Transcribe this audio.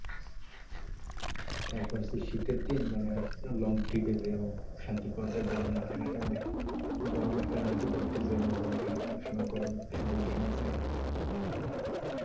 তারপর কি শীতের দিন মানে হচ্ছে long trip এ গিয়েও শান্তি পাওয়া যায়। গরম মাঠে ঘাটে মানে গরমের কারণে একটু ঘুরতে গিয়েও মজা লাগেনা। সব সময় গরম সবাই ঘেমে যায়।